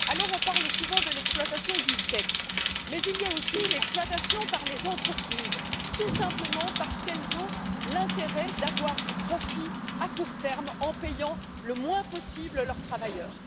On parle souvent de l'exploitation du sexe, mais il y a aussi l'exploitation par les entreprises, tout simplement parce qu'elles ont l'intérêt d'avoir du profit à court terme en payant le moins possible leurs travailleurs.